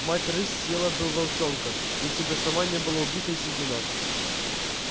мать рысь съела бы волчонка если бы сама не была убита и съедена